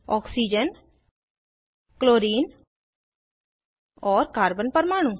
oxygen chlorine और carbon परमाणु